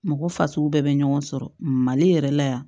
Mɔgɔ fasugu bɛɛ bɛ ɲɔgɔn sɔrɔ mali yɛrɛ la yan